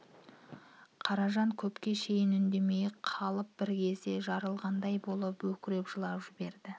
қаражан көпке шейін үндемей қалып бір кезде жарылғандай болып өкіріп жылап жіберді